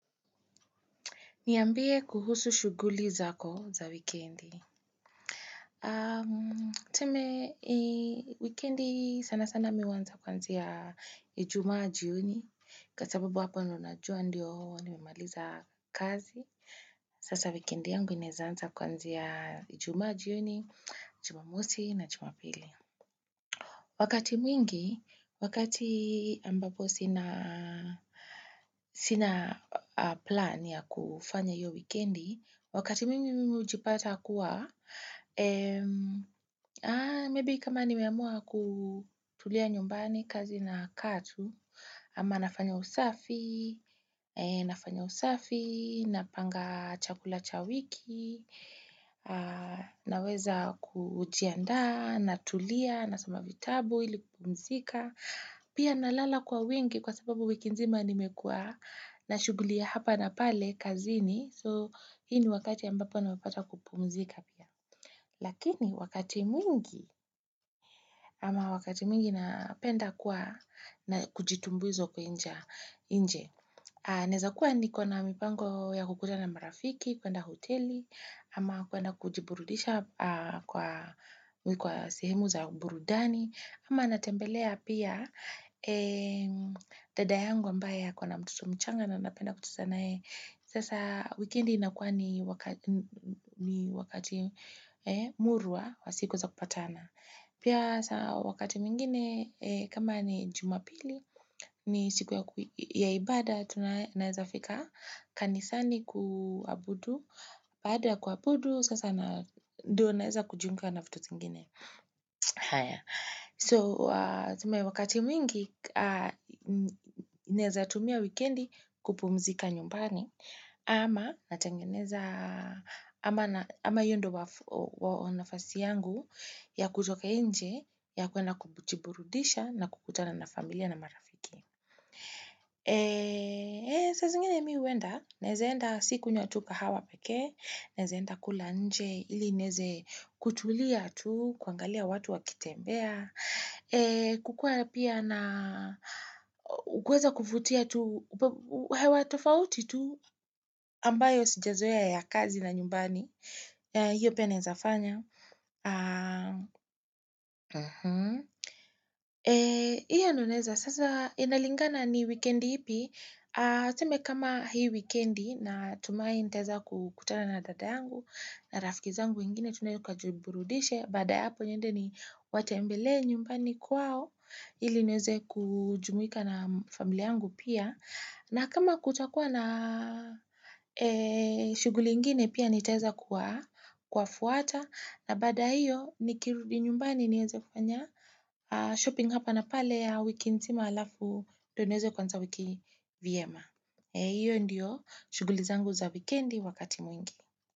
Niambie kuhusu shughuli zako za wikendi. Tume, wikendi sana sana mi huanza kwanzia ijumaji jioni. Kwa sababu hapa ninajua ndiyo nmemaliza kazi. Sasa wikendi yangu inaweza anza kwanzia ijumaji jioni, jumamosi na jumapili. Wakati mwingi, wakati ambapo sina plan ya kufanya hiyo wikendi, Wakati mimi mimi ujipata kuwa, maybe kama ni meamua kutulia nyumbani kazi na katu, ama nafanya usafi, nafanya usafi, napanga chakula cha wiki, naweza kujianda, natulia, nasoma vitabu, ili kupumzika. Pia nalala kwa wengi kwa sababu wiki nzima nimekua na shughulia hapa na pale kazini so hii wakati ambapo nawepata kupumzika pia. Lakini wakati mwingi ama wakati mwingi na penda kwa na kujitumbuizo kwenja inje. Naweza kuwa ni kwa na mipango ya kukuta na marafiki, kwa na hoteli, ama kwa na kujiburudisha kwa sehemu za burudani, ama natembelea pia dada yangu ambaye kwa na mtoto mchanga na napenda kucheza na yeye. Sasa, wikendi inakua ni wakati murwa wa siku za kupatana. Pia wakati mwingine, kama ni jumapili, ni siku ya ibada, tunaye fika kanisani kuabudu. Baada kuabudu, sasa na ndo naweza kujiunga na vitu zingine. So, wakati mingi, naweza tumia wikendi kupumzika nyumbani. Ama natangeneza, ama hiyo ndo nafasi yangu ya kutoka nje, ya kwenda kubujiburudisha na kukutana na familia na marafiki. Sa zingine mi huenda, nezenda siknywa kahawa peke, nawezaaenda kula nje ili neze kutulia tu, kuangalia watu wakitembea. Mbea, kukua pia na kweza kufutia tu, hewa tofauti tu ambayo sijazoea ya kazi na nyumbani. Hiyo pia nawwezaa fanya. Hiyo anoneza, sasa inalingana ni weekendi ipi. Sema kama hii weekendi na tumaini niteweza kutana na dada yangu na rafikizangu ingine tunayotukajiburudishe. Bada hapo niende ni watembele nyumbani kwao iliniweze kujumuika na familia yangu pia. Na kama kutakuwa na shughuli ingine pia nitaweza kuwa fuata na bada hiyo nikirudi nyumbani niweze kufanya shopping hapa na pale ya wiki nzima alafu ndo niweze kuanza wikindi vyema. Hiyo ndiyo shuguli zangu za wikendi wakati mwingi.